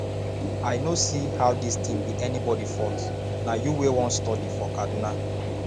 i no see how dis thing be anybody fault na you wey wan study for kaduna